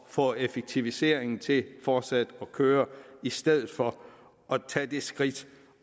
få effektiviseringen til fortsat at køre i stedet for at tage det skridt